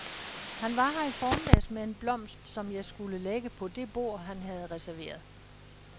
Han var her i formiddags med en blomst, som jeg skulle lægge på det bord, han havde reserveret.